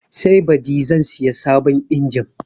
Sai baɗi zan siya sabon injin